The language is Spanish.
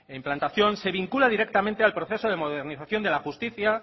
implantación se vincula directamente al proceso de modernización de la justicia